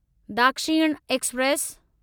Dakshin express